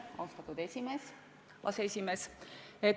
Austatud aseesimees!